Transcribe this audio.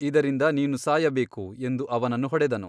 ಇದರಿಂದ ನೀನು ಸಾಯಬೇಕು ಎಂದು ಅವನನ್ನು ಹೊಡೆದನು.